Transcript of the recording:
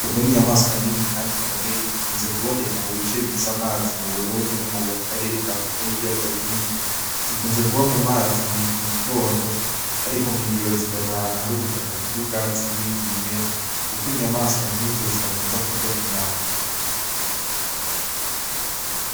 Inzovu n' inyamaswa nini, kandi ikomeye ikunze kuboneka mu bice bifise amazi mu burundi no mu karere ka afrika y'ibiyaga binini zikunze kuba mu mazi mu gitondo, ariko mw'ijoro zikaja ahantu hari ubutaka kurya ubwatsi n'ibindi bimera, kuko inyamaswa nk'izo zitakunza kurya inyama.